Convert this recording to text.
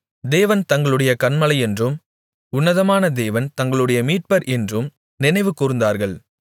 தேவன் தங்களுடைய கன்மலையென்றும் உன்னதமான தேவன் தங்களுடைய மீட்பர் என்றும் நினைவுகூர்ந்தார்கள்